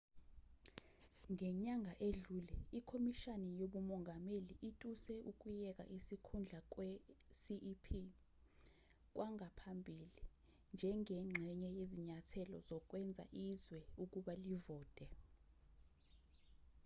ngenyanga edlule ikhomishani yobumongameli ituse ukuyeka isikhundla kwe-cep kwangaphambili njengengxenye yezinyathelo zokwenza izwe ukuba livote